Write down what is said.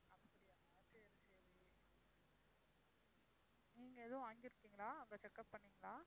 நீங்க எதுவும் வாங்கிருக்கீங்களா அங்க checkup பண்ணீங்களா?